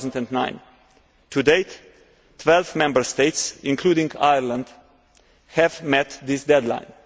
2009. To date, 12 Member States, including Ireland, have met this deadline.